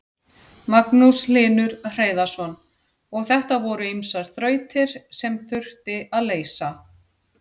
Magnús Hlynur Hreiðarsson: Og þetta voru ýmsar þrautir sem þurfti að leysa?